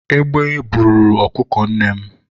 egbe buru ọkụkọ nnem